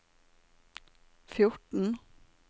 fjorten